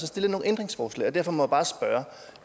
stillet nogle ændringsforslag og derfor må